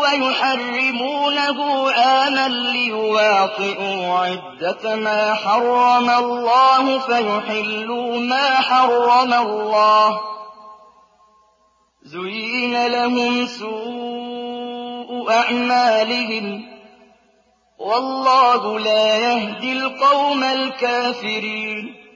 وَيُحَرِّمُونَهُ عَامًا لِّيُوَاطِئُوا عِدَّةَ مَا حَرَّمَ اللَّهُ فَيُحِلُّوا مَا حَرَّمَ اللَّهُ ۚ زُيِّنَ لَهُمْ سُوءُ أَعْمَالِهِمْ ۗ وَاللَّهُ لَا يَهْدِي الْقَوْمَ الْكَافِرِينَ